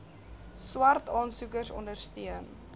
swart aansoekers ondersteun